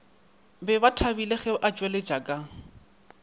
be bathabile ge atšweletše ka